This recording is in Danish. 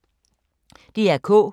DR K